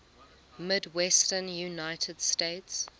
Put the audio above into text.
midwestern united states